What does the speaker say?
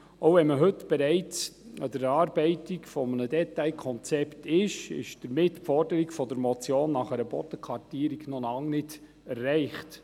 Auch wenn man heute bereits an der Erarbeitung eines Detailkonzepts ist, ist die Forderung der Motion nach einer Bodenkartierung noch lange nicht erreicht.